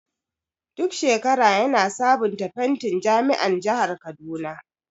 Duk shekara yana sabunta fentin jami'an jahar kaduna.